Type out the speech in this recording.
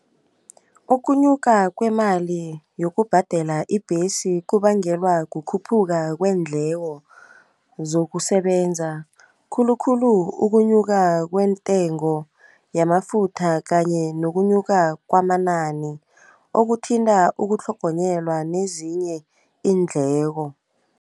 Ukunyuka kwemali yokubhadela ibhesi kubangelwa kukhuphuka kweendleko zokusebenza khulukhulu ukunyuka kwentengo yamafutha kanye nokukhunyuka kwamanani, okuthinta ukutlhogonyelwa nezinye iindleko.